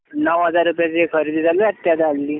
नऊ हजार रुपयांची खरेदी झाली